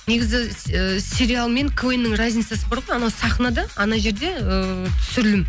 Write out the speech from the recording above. негізі ы сериал мен квн нің разницасы бар ғой анау сахнада анау жерде ыыы түсірілім